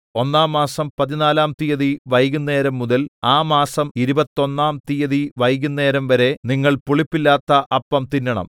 ഒന്നാം മാസം പതിനാലാം തീയതി വൈകുന്നേരംമുതൽ ആ മാസം ഇരുപത്തൊന്നാം തീയതി വൈകുന്നേരംവരെ നിങ്ങൾ പുളിപ്പില്ലാത്ത അപ്പം തിന്നണം